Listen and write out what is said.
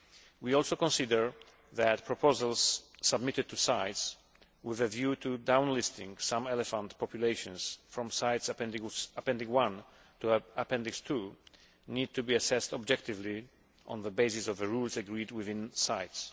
We also consider that proposals submitted to CITES with a view to downlisting some elephant populations from CITES Appendix I to Appendix II need to be assessed objectively on the basis of the rules agreed within CITES.